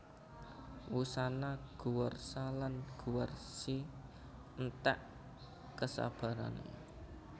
Wusana Guwarsa lan Guwarsi enték kesabarané